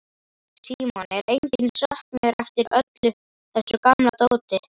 Símon: Er enginn söknuður eftir öllu þessu gamla dóti?